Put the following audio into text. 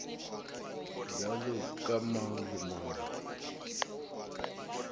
bjalo ka mang le mang